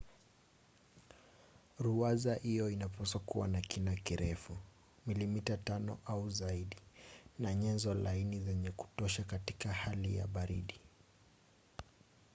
ruwaza hiyo inapaswa kuwa na kina kirefu milimita 5 inchi 1/5 au zaidi na nyenzo laini za kutosha katika hali ya baridi